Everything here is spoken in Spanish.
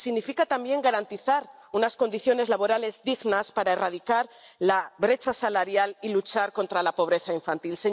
y significa también garantizar unas condiciones laborales dignas para erradicar la brecha salarial y luchar contra la pobreza infantil.